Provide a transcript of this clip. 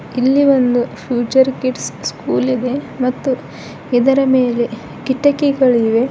ಇಲ್ಲಿ ಒಂದು future kids school ಇದೆ ಮತ್ತು ಇದರ ಮೇಲೆ ಕಿಟಕಿಗಳಿವೆ.